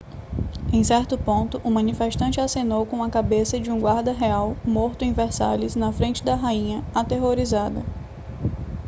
em certo ponto um manifestante acenou com a cabeça de um guarda real morto em versalhes na frente da rainha aterrorizada